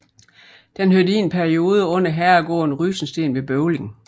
Den hørte i en periode under herregården Rysensten ved Bøvling